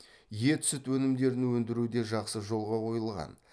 ет сүт өнімдерін өндіру де жақсы жолға қойылған